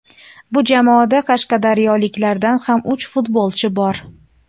Bu jamoada qashqadaryoliklardan ham uch futbolchi bor.